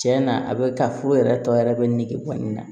Tiɲɛ na a bɛ taa foro yɛrɛ tɔ yɛrɛ bɛ ne nege bɔ n na